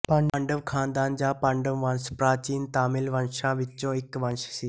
ਪਾਂਡਵ ਖ਼ਾਨਦਾਨ ਜਾਂ ਪਾਂਡਵ ਵੰਸ਼ ਪ੍ਰਾਚੀਨ ਤਾਮਿਲ ਵੰਸ਼ਾਂ ਵਿੱਚੋਂ ਇੱਕ ਵੰਸ਼ ਸੀ